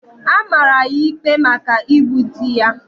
A mara ya ikpe maka igbu di ya.